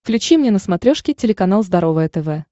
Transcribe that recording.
включи мне на смотрешке телеканал здоровое тв